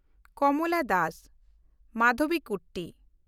ᱠᱚᱢᱞᱟ Das (ᱢᱟᱫᱷᱚᱵᱤᱠᱩᱴᱴᱤ)